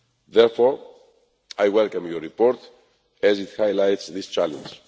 Therefore, I welcome your report as it highlights this challenge.